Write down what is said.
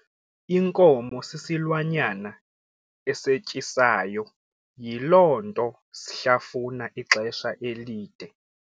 Inkomo sisilwanyana esetyisayo yiloo nto shlafuna ixesha elide.